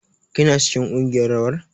Kina cikin kungiyar rawar?